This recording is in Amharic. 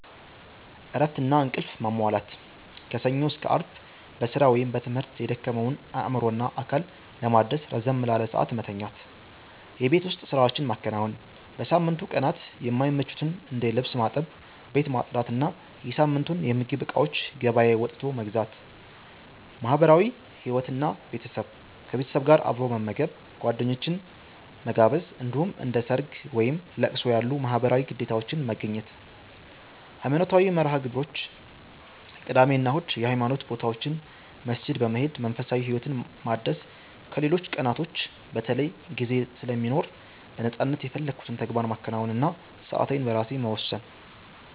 እረፍትና እንቅልፍ ማሟላት፦ ከሰኞ እስከ አርብ በስራ ወይም በትምህርት የደከመውን አእምሮና አካል ለማደስ ረዘም ላለ ሰዓት መተኛት። የቤት ውስጥ ስራዎችን ማከናወን፦ በሳምንቱ ቀናት የማይመቹትን እንደ ልብስ ማጠብ፣ ቤት ማጽዳት እና የሳምንቱን የምግብ እቃዎች ገበያ ወጥቶ መግዛት። ማህበራዊ ህይወት እና ቤተሰብ፦ ከቤተሰብ ጋር አብሮ መመገብ፣ ጓደኞችን መጋበዝ፣ እንዲሁም እንደ ሰርግ፣ ወይም ለቅሶ ያሉ ማህበራዊ ግዴታዎችን መገኘት። ሃይማኖታዊ መርሃ-ግብሮች፦ ቅዳሜ እና እሁድ የሃይማኖት ቦታዎች መስጊድ በመሄድ መንፈሳዊ ህይወትን ማደስ ከሌሎች ቀናቶች በተለይ ጊዜ ስለሚኖር በነፃነት የፈለኩትን ተግባር ማከናወን እና ሰአቴን በራሴ መወሰን።